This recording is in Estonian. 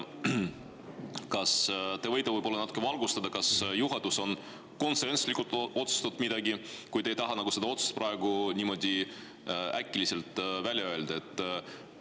Kas te võite natukene valgustada, kas juhatus on konsensuslikult midagi otsustanud, kui te ei taha seda otsust praegu niimoodi äkitselt välja öelda?